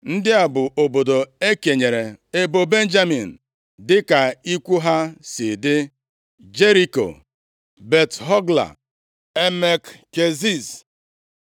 Ndị a bụ obodo e kenyere ebo Benjamin, dịka ikwu ha si dị: Jeriko, Bet-Hogla, Emek Keziz,